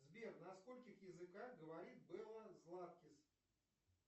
сбер на скольких языках говорит белла златкис